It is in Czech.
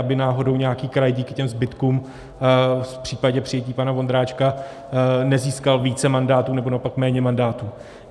Aby náhodou nějaký kraj díky těm zbytkům v případě přijetí pana Vondráčka nezískal více mandátů nebo naopak méně mandátů.